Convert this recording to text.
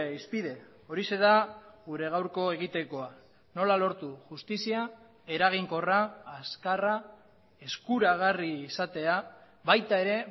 hizpide horixe da gure gaurko egitekoa nola lortu justizia eraginkorra azkarra eskuragarri izatea baita ere